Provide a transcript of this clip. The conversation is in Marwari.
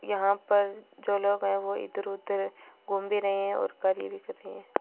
यहां पर जो लोग हैं वो इधर-उधर घूम भी रहे हैं और कार्य भी कर रहे हैं।